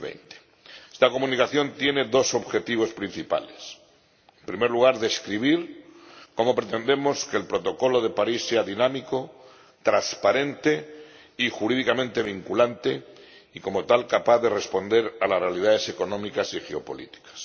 2020. Esta Comunicación tiene dos objetivos principales en primer lugar, describir cómo pretendemos que el Protocolo de París sea dinámico, transparente y jurídicamente vinculante y, como tal, capaz de responder a las realidades económicas y geopolíticas